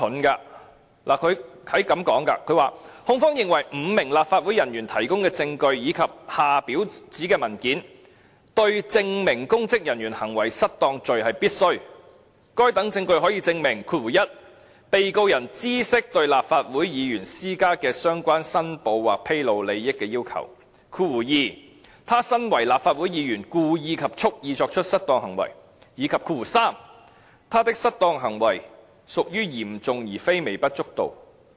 他這樣說，"控方認為，五名立法會人員提供的證據以及下表的指明文件，對證明公職人員行為失當罪是必需的，該等證據可證明 ：1 被告人知悉對立法會議員施加的相關申報或披露利益的要求 ；2 他身為立法會議員，故意及蓄意作出失當行為；以及3他的失當行為屬於嚴重而並非微不足道"。